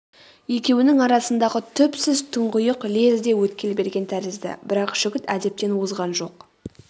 екеуінің арасындағы түпсіз тұңғиық лезде өткел берген тәрізді бірақ жігіт әдептен озған жоқ